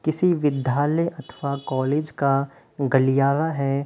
किसी विद्धालय अथवा कॉलेज का गलियारा है।